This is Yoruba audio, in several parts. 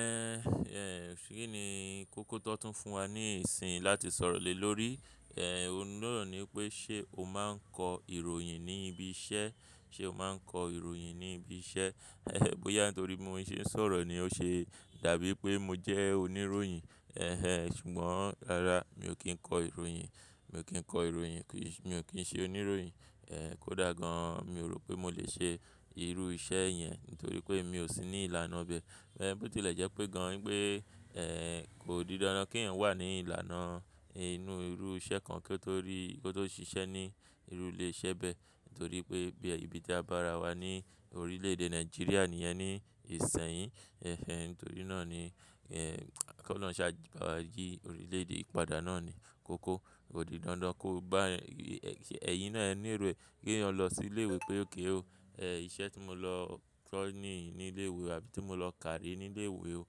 Ẹ̀, ẹ́, kí ni kókó ti won tún fún wa ní ìsìn yii láti sọ̀rọ̀ lé lórí? Òhun naa ni pé ṣe o máa ń kọ ìròyìn ní ibi iṣẹ́? Ṣe o máa ń kọ ìròyìn ní ibi iṣẹ́? Óyá n torí mo ṣe ń sọ̀rọ̀ ni ó ṣe dàbí wipé mo jẹ́ oníròyìn. Ẹ̀hẹn, ṣùgbọ́n rara mi ò kí ń kọ ìròyìn, mi ò kí ń kọ ìròyìn, kí-- mi ò kín ṣe oníròyìn. Ẹ̀, kódà gan-an mi ò rò pé mo lè ṣe irú iṣẹ́ yẹn nítorí pé mi ò sí ní ìlànà ibẹ. Bó tí ilẹ̀ jẹ́ pé gan-an wipé, ẹ́, kò di dandan kí èèyàn wà ní ìlànà inú irú iṣẹ́ kan kí ó tó rí, kí ó tó ṣiṣẹ́ ní irú ilé iṣẹ́ bẹ́ẹ̀ nítorí pé be ni ibi tí a bá ra wa ní orílẹ̀ èdè Nigeria níyẹn ní ìsẹ̀yín. Ẹ̀hẹn, nítorí náà ni, ẹ́, kí olọrun ṣá bá wa jí orílẹ̀ èdè ìpadà náà ni kókó. Kò di dandan kó gba ẹ̀, ẹ̀, ẹ̀yín náà ẹ ní ero eh ki eniyan losí ilé ìwé pé ok o o. Ẹ̀, iṣẹ́ tí mo lọ tọ́ ní ní ilé ìwé àbí tí mo lọ kàrí ní ilé ìwé o.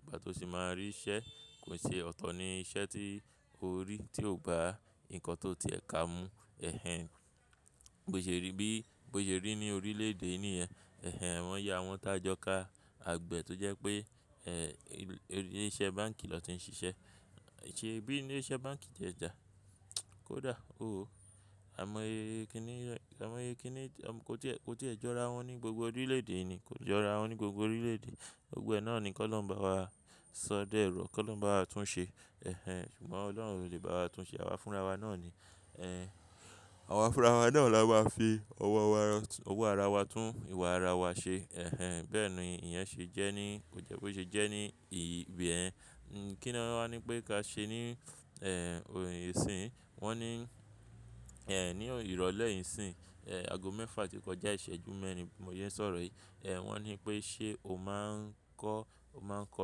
Ìgbà tó sì máa rí iṣẹ́ kò ṣe ọ̀tọ̀ ni iṣẹ́ tí o rí tí ò bá nǹkan tó ti ẹ̀ ka mu. Ẹ̀hẹn, bó ṣe rí bí, bó ṣe rí ní orílẹ̀ èdè níyẹn. Ẹ̀hẹn, wọ́n ya àwọn tá jọ ká àgbẹ̀ tó jẹ́ pé, ẹ́, ilé iṣẹ́ báǹkì lọ́ ti ń ṣiṣẹ́. Ṣé bí ilé iṣẹ́ báǹkì jẹ́ jà? Kódà ó o. A mọ iyẹ̀kiní, a mọ iyẹ̀kiní, a mọ kó tí, kó tí ẹ jọ ara wọn ní gbogbo orílẹ̀ èdè ni, kó jọ ara wọn ní gbogbo orílẹ̀ èdè. Gbogbo e náà ni kí ólọhun bá wa sọ dé ọ̀rọ̀, kí ólọhun bá wa tún ṣe. Ẹ̀hẹn, ṣùgbọ́n Ọlọ́run lo lè bá wa tún ṣe, àwa fúnra wa náà ni. Àwa fúnra wa náà la ma fi ọwọ́ arawa-- owó ara wa tún ìwà ara wa ṣe. Ẹ̀hẹn, bẹ́ẹ̀ ni ìyẹn ṣe jẹ́ ní, kò jẹ́ boṣe jẹ́ ní ìbiyen. Kí ni wọn á ní pé ká ṣe ní, ìṣìń? Wọ́n ní, ní irole yi nìsìn, ago mẹ́fà tí kọjá ìṣẹ́jú mẹ́rin bi mo se n sọ̀rọ̀ yìí. Wọ́n ní pé ṣe o máa ń kọ́, o máa ń kọ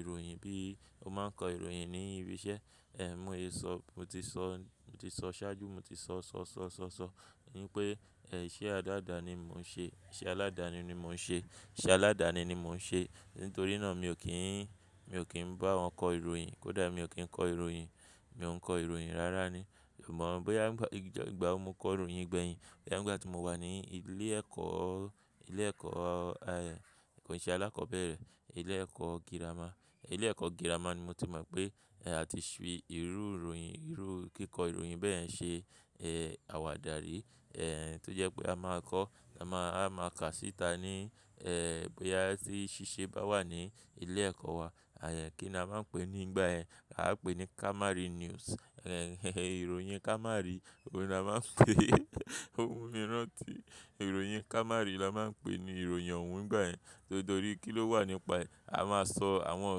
ìròyìn bí i, o máa ń kọ ìròyìn ní ibi iṣẹ́? Mo yóò sọ, mo ti sọ, mo ti sọ ṣáájú mo ti sọ, sọ, sọ, sọ, sọ ní pé, ìṣe aládàáni ni mò ń ṣe, ìṣe aládàani ni mò ń ṣe, ìṣe aládàani ni mò ń ṣe. Nítorí náà mi ò kí ń, mi ò kín bá wọn kọ ìròyìn. Kódà mi ò kí ń kọ ìròyìn, mi ò ń kọ ìròyìn rara ni. Mọ̀ ọ́n bóyá ń gbà ìjà, ìgbà wo mo kọ ìròyìn gbẹ̀yìn. Bóyá nígbà tí mo wà ní ilé ẹ̀kọ́, ilé ẹ̀kọ́, kò ì ṣe alákọ̀ọ́bẹ̀rẹ̀. Ilé ẹ̀kọ́ gírámà, ilé ẹ̀kọ́ gírámà ni mo tí mọ̀ pé, a ti ṣí irú ìròyìn, irú kíkọ ìròyìn bẹ́ẹ̀ ṣe, àwàdàrí. Tó jẹ́ pé a máa kọ́, a máa, a máa kà síta ní, bóyá tí ṣíṣe bá wà ní ilé ẹ̀kọ́ wa. Àyẹ̀ kí ni a máa ń pè é nígbà ẹ́, a á pè ní Kamari News. Ẹ̀hẹn, ìròyìn Kamari, ohun ni a máa ń pè ómumi ranti. Ìròyìn Kamari la máa ń pè ní ìròyìn ọ̀wún nígbà ẹ́. Nítorí kí ló wà nípa ẹ́. A máa sọ àwọn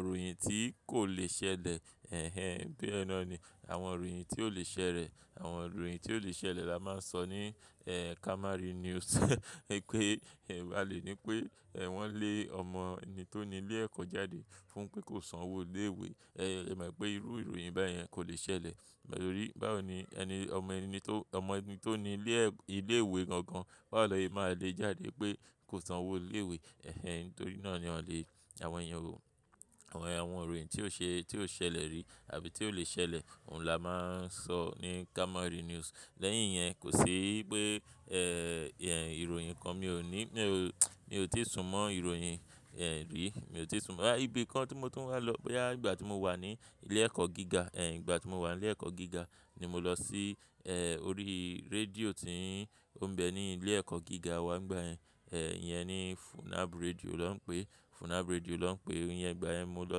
ìròyìn tí kò lè ṣẹlẹ̀. Ẹ̀hẹn, bí ẹ náà ni, àwọn ìròyìn tí ò lè ṣẹlẹ̀, àwọn ìròyìn tí ò lè ṣẹlẹ̀ la máa ń sọ ní, Kamari News. Ní pé, ẹ́, a lè ní pé, ẹ́, wọ́n lé ọmọ ẹni tó ni ilé ẹ̀kọ́ jáde fún pé kó san owó ilé ìwé. Ẹ̀, ẹ mọ̀ pé irú ìròyìn báyẹn kò lè ṣẹlẹ̀. Nítorí báwo ni ẹni, ọmọ ẹni tó, ọmọ ẹni tó ni ilé ẹ̀-- ilé ìwé gan-an, wàá lọ í máa le jáde pé kó san owó ilé ìwé. Ẹ̀hẹn, nítorí náà ni wọ́n le àwọn èèyàn wo-- àwọn èèyàn, àwọn ìròyìn tí ó ṣe, tí ó ṣẹlẹ̀ rí àbí tí ò lè ṣẹlẹ̀, òun la máa ń sọ ní Kamari News. Lẹ́yìn yẹn kò sí pé, ìròyìn kan mi ò ní, mi ò, mi ò tíì sùnmọ́ ìròyìn, ẹ́, rí. Mi ò tíì sùnmọ́. Rárá, ibi kan tí mo tún wá lọ bóyá nígbà tí mo wà ní ilé ẹ̀kọ́ gíga. Nígbà tí mo wà ní ilé ẹ̀kọ́ gíga ni mo lọ sí, orí rédíò tí ń, ó ń bẹ ní ilé ẹ̀kọ́ gíga wa nígbà yẹ́n. Ìyẹn ni FUNNAB Radio ló ń pè é, FUNNAB Radio ló ń pè é. Ohun ìyẹn nígbà ẹ́ mo lọ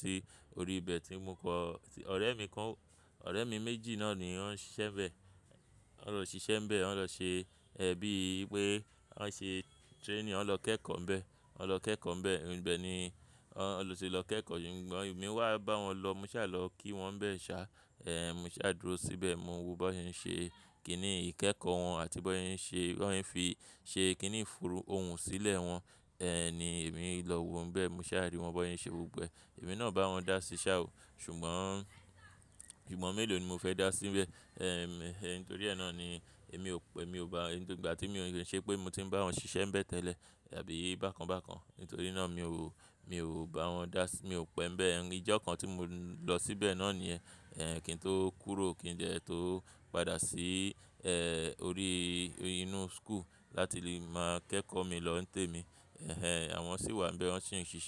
sí orí ibẹ̀ tí mo kọ́. Ọ̀rẹ́ mi kan, ọ̀rẹ́ mi méjì náà ni wọ́n ń ṣiṣẹ́ n bẹ́ẹ̀. Wọ́n lọ ṣiṣẹ́ bẹ̀ wọ́n lọ ṣe, bí i pé wọ́n ṣe training, wọ́n lọ kẹ́kọ̀ọ́ bẹ̀ ẹ́, wọ́n lọ kẹ́kọ̀ọ́ bẹ̀ ẹ́. Ibẹ̀ ni wọ́n lọ sì lọ kẹ́kọ̀ọ́. Ṣùgbọ́n èmi wá bá wọn lọ, mo ṣà lọ kí wọn bẹ̀ ẹ́ ṣá. Ẹ̀, mo ṣà dúró síbẹ̀, mo wo bí wọ́n ṣe ń ṣe kí nì ikẹ́kọ̀ọ́ wọn àti bí wọ́n ṣe ń ṣe, wọ́n ṣe ń fi ṣe kí nì fùrù ohun sílẹ̀ wọn. Ni èmi lọ wo wọn bẹ́ẹ̀, mo ṣà rí wọn bí wọ́n ṣe ń ṣe gbogbo ẹ́. Èmi náà bá wọn dá sí ṣá o. Ṣùgbọ́n, sugbon mélòó ni mo fẹ́ dá síbẹ̀ nítorí ẹ náà ni èmi ò pẹ́, mi ò bá-- nítorí ìgbà tí mi ò lè ṣe pé mo ti ń bá wọn ṣiṣẹ́ bẹ̀ tẹ́lẹ̀ àbí bákan bákan. Nítorí náà mi ò wò, mi ò bá wọn dá sí, mi ò pẹ́ n bẹ̀. Ijọ́ kan tí mo lọ síbẹ̀ náà ni yẹ́n, kí n tó kúrò kí n dẹ́ tó padà sí, orí inú school láti lè máa kẹ́kọ̀ọ́ mi lọ́ ń tẹ́ mi. Ẹ̀hẹn, àwọn sì wà níbẹ̀, wọ́n sì ń ṣiṣẹ́.